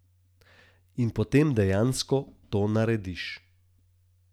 In potem dejansko to narediš.